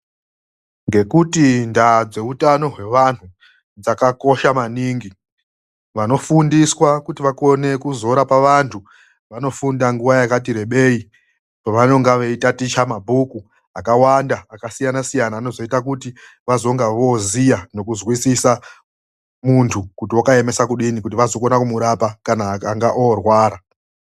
Ngekuti ndaa dzehutano hwevanhu dzakakosha maningi. Vanofundiswa kuti vakone kuzorapa vandu vanofunda nguva yakati rebei kwavanonga veitaticha mabhuku akawanda akasiyana siyana anozoita kuti vazonga vooziya nokuzwisisa mundu kuti akaemesa kudini, kuti vazokone kumurapa kana akanga oorwara.